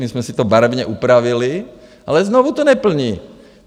My jsme si to barevně upravili, ale znovu to neplní!